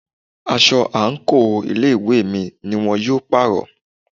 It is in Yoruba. Aṣọ àǹkóò ilé ìwé mi ni wón yóò pàrọ̀.